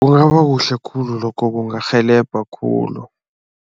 Kungabakuhle khulu lokho, kungarhelebha khulu.